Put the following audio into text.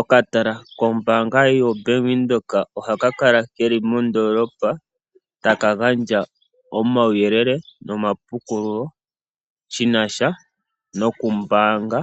Okatala kombaanga yoBank Windhoek ohaka kala ke li moondoolopa taka gandja omauyelele nomapukululo shi na sha nokumbaanga